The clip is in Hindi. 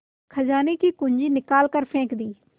खजाने की कुन्जी निकाल कर फेंक दी